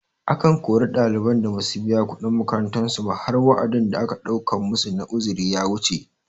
Akan kori ɗaliban da basu biya kuɗin makarantar su ba har wa'adin da aka ɗaukan masu na uzuri ya wuce